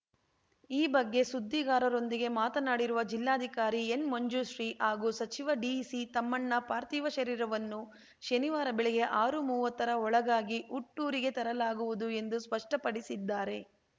ಈ ಬಗ್ಗೆ ಸುದ್ದಿಗಾರರೊಂದಿಗೆ ಮಾತನಾಡಿರುವ ಜಿಲ್ಲಾಧಿಕಾರಿ ಎನ್‌ಮಂಜುಶ್ರೀ ಹಾಗೂ ಸಚಿವ ಡಿಸಿತಮ್ಮಣ್ಣ ಪಾರ್ಥಿವ ಶರೀರವನ್ನು ಶನಿವಾರ ಬೆಳಗ್ಗೆ ಆರುಮುವತ್ತರ ಒಳಗಾಗಿ ಹುಟ್ಟೂರಿಗೆ ತರಲಾಗುವುದು ಎಂದು ಸ್ಪಷ್ಟಪಡಿಸಿದ್ದಾರೆ